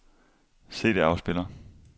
CD-afspiller